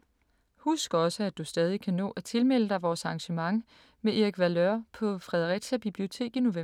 Husk også at du stadig kan nå at tilmelde dig vores arrangement med Erik Valeur på Fredericia Bibliotek i november.